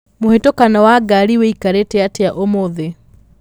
mũhatĩkano wa ngari wĩikarĩte atĩa ũmũthĩ